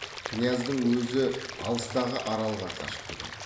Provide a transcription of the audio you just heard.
кіняздің өзі алыстағы аралға қашып кетеді